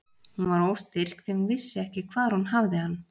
Hún var óstyrk því hún vissi ekki hvar hún hafði hann.